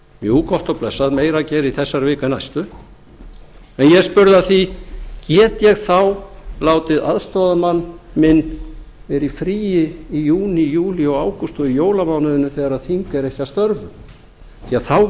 jú gott og blessað meira að gera í þessari viku en næstu en ég spurði að því get ég þá látið aðstoðarmann minn vera í fríi í júní júlí og ágúst og í jólamánuðinum þegar þing er ekki að störfum já þá